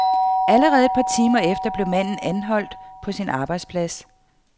Allerede et par timer efter blev manden anholdt på sin arbejdsplads.